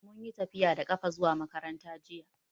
Mun yi tafiya da ƙafa zuwa makaranta ne jiya.